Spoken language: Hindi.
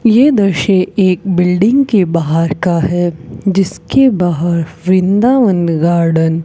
ये दृश्य एक बिल्डिंग के बाहर का है जिसके बाहर वृंदावन गार्डन --